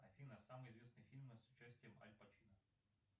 афина самые известные фильмы с участием аль пачино